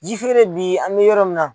Ji feere bi an bɛ yɔrɔ min na.